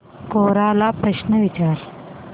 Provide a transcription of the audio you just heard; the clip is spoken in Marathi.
कोरा ला प्रश्न विचार